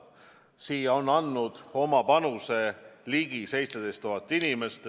Sellesse on andnud oma panuse ligi 17 000 inimest.